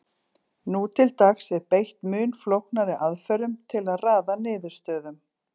nú til dags er beitt mun flóknari aðferðum til að raða niðurstöðum